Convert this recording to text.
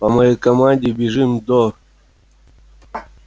по моей команде бежим до